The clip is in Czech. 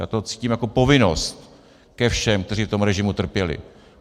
Já to cítím jako povinnost ke všem, kteří v tom režimu trpěli.